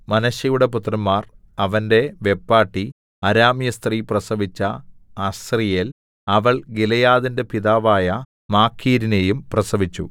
മനശ്ശെയുടെ പുത്രന്മാർ അവന്റെ വെപ്പാട്ടി അരാമ്യസ്ത്രീ പ്രസവിച്ച അസ്രീയേൽ അവൾ ഗിലെയാദിന്റെ പിതാവായ മാഖീരിനെയും പ്രസവിച്ചു